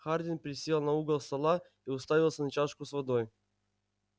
хардин присел на угол стола и уставился на чашку с водой